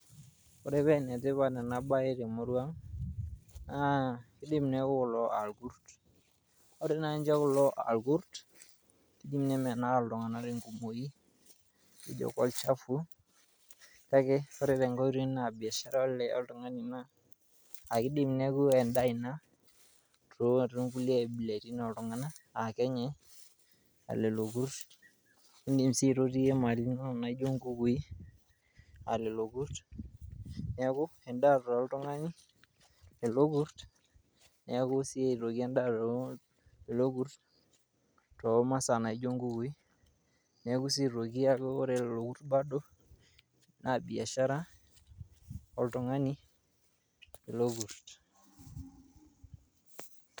Ore pee enetipat ena baye te murua ang' naa idim neeku kulo aa irkurt. Ore nai kulo aa irkut idim nemenaa iltung'anak tenkumoi ejo kolchafu, kake ore tenkai oitoi na baishara olikai tung'ani ina aake idim neeku endaa oltung'anak ina too nkulie abilaritin oltung'anak aake enyai lelo kurt, niindim sii aitotiyie mali inonok naijo nkukui a lelo kurt. Neeku endaa toltung'ani lelo kurt neeku sii endaa aitoki lelo kur too masaa naijo nkukui. Neeku sii aitoki ore lelo kurt bado naa biashara oltung'ani lelo kurt.